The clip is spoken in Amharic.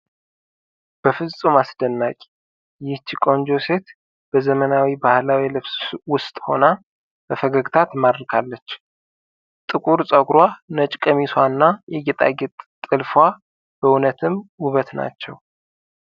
በፍጹም አስደናቂ! ይህች ቆንጆ ሴት በዘመናዊ ባህላዊ ልብስ ውስጥ ሆና በፈገግታ ትማርካለች! ጥቁር ፀጉሯ፣ ነጭ ቀሚሷ እና የጌጣጌጥ ጥልፍዋ በእውነትም ውበት ናቸው!